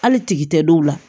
Hali tigi tɛ dɔw la